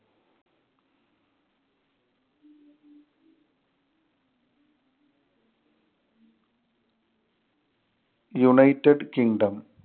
united kindom